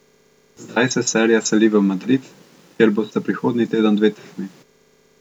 Zdaj se serija seli v Madrid, kjer bosta prihodnji teden dve tekmi.